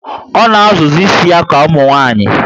O na azụ zi ísì ya ka umunwanyi